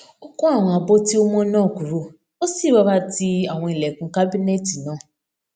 ó kó àwọn abọ tí ó mó náà kúrò ó sì rọra ti àwọn ilèkùn kábínẹẹtì náà